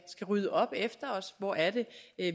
rydde op efter os hvor er det